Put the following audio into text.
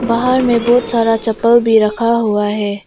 बाहर में बहुत सारा चप्पल भी रखा हुआ है।